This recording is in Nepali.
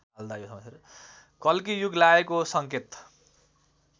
कल्कीयुग लागेको सङ्केत